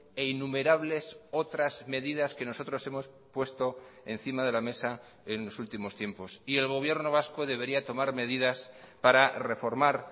e innumerables otras medidas que nosotros hemos puesto encima de la mesa en los últimos tiempos y el gobierno vasco debería tomar medidas para reformar